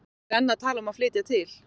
Pabbi er enn að tala um að flytja til